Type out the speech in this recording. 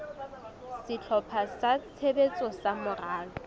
sehlopha sa tshebetso sa moralo